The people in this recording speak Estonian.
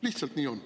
Lihtsalt nii on.